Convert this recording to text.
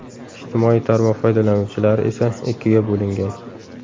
Ijtimoiy tarmoq foydalanuvchilari esa ikkiga bo‘lingan.